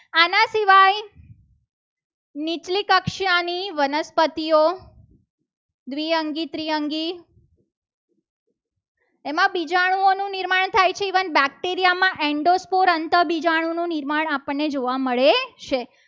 નીચલી કક્ષાની વનસ્પતિઓ દ્વિઅંગી ત્રિઅંગી એમાં બીજાણુઓનું નિર્માણ થાય છે. even બેક્ટેરિયા માં and સ્કોર અંતઃ બીજાણુ નું નિર્માણ આપણને જોવા મળે છે.